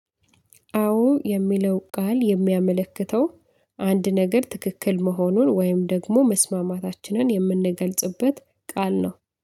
አዎ የሚለው ቃል የሚያመለክተው አንድ ነገር ትክክል መሆኑን ወይም ደግሞ መስማማታችንን የምንገልጽበት ቃል ነው።